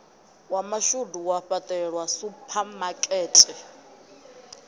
wa mashudu wa fhaṱelwa suphamakete